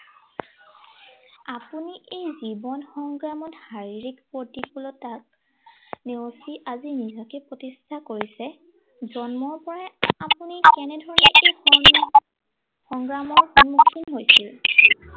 আপুনি এই জীৱন সংগ্ৰামত শাৰীৰিক প্ৰতিকুলতাক নেওচি আজি নিজকে প্ৰতিষ্ঠা কৰিছে, জন্মৰ পৰাই আপুনি কেনেধৰনে, কি সংগ্ৰামৰ সন্মুখীন হৈছিল।